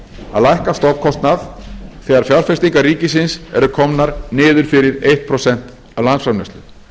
að lækka stofnkostnað þegar fjárfestingar ríkisins eru komnar niður fyrir eitt prósent af landsframleiðslu